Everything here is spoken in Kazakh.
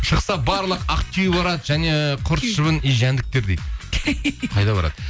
шықса барлық ақтөбе барады және құрт шыбын и жәндіктер дейді қайда барады